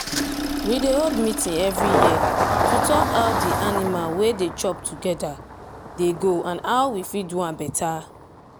we dey hold meeting every year to talk how the animal wey dey chop together dey go and how we fit do am better.